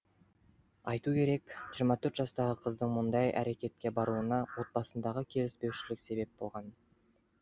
айту кету керек жиырма төрт жастағы қыздың мұндай әрекетке баруына отбасындағы келіспеушілік себеп болған